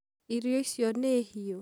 Irio icio nĩ hĩu?